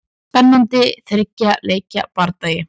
Spennandi þriggja leikja bardagi.